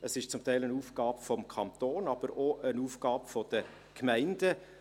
Es ist zum Teil eine Aufgabe des Kantons, aber auch eine Aufgabe der Gemeinden.